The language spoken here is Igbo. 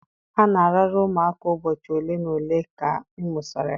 A na-arara ụmụaka ụbọchị ole na ole ka a mụsịrị ha